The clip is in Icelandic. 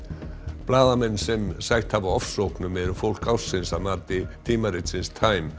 blaðamenn sem sætt hafa ofsóknum eru fólk ársins að mati tímaritsins time